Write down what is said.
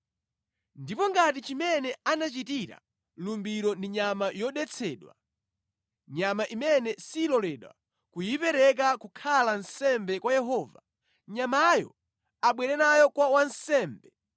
Ngati chimene anachitira lumbiro ndi nyama yodetsedwa, nyama imene siloledwa kuyipereka kukhala nsembe kwa Yehova, nyamayo abwere nayo kwa wansembe,